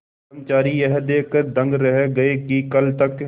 कर्मचारी यह देखकर दंग रह गए कि कल तक